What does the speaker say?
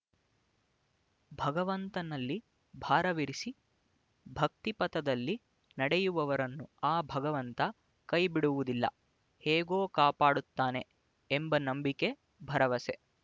ಭಗವಂತನಲ್ಲಿ ಭಾರವಿರಿಸಿ ಭಕ್ತಿಪಥದಲ್ಲಿ ನಡೆಯುವವರನ್ನು ಆ ಭಗವಂತ ಕೈ ಬಿಡುವುದಿಲ್ಲ ಹೇಗೋ ಕಾಪಾಡುತ್ತಾನೆ ಎಂಬ ನಂಬಿಕೆ ಭರವಸೆ